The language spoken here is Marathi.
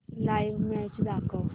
लाइव्ह मॅच दाखव